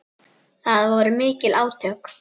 Það voru mikil átök.